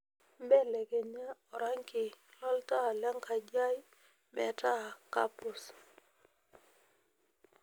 belekekenya orangi lo ntaa lenkaji ai meeta kepuz